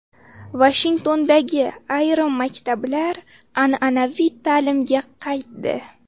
Vashingtondagi ayrim maktablar an’anaviy ta﻿﻿’limga qaytdi.